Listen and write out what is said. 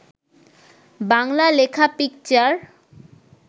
বাংলা লেখা পিকচার